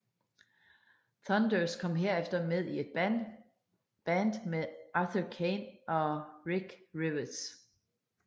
Thunders kom herefter med i et band med Arthur Kane og Rick Rivets